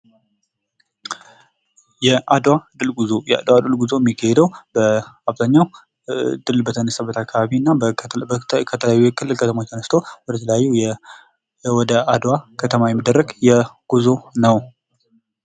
ጉዞ አዳዲስ ቦታዎችን ለመዳሰስ ሲሆን ቱሪዝም ለመዝናናትና ለመማር የሚደረግ እንቅስቃሴ ነው። ስደት ደግሞ የተሻለ ኑሮ ፍለጋ ወይም ከአደጋ ለመዳን የሚደረግ የቦታ ለውጥ ነው።